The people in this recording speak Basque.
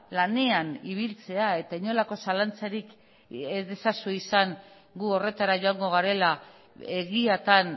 lanean ibiltzea eta inolako zalantzarik ez ezazue izan gu horretara joango garela egiatan